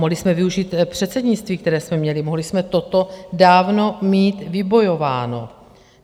Mohli jsme využít předsednictví, které jsme měli, mohli jsme toto dávno mít vybojováno.